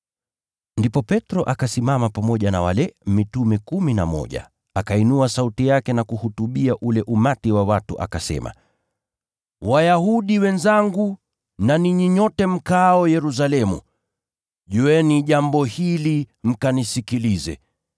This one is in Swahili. Ndipo Petro akasimama pamoja na wale mitume kumi na mmoja, akainua sauti yake na kuhutubia ule umati wa watu, akasema: “Wayahudi wenzangu na ninyi nyote mkaao Yerusalemu, jueni jambo hili mkanisikilize.